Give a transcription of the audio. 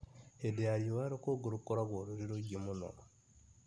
Hĩndĩ ya riua rũkũngũ rũkoragwo rũrĩ rũingĩ mũno